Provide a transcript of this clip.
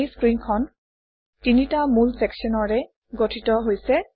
এই স্ক্ৰীনখন তিনিটা মূল চেকশ্যনৰে গঠিত হৈছে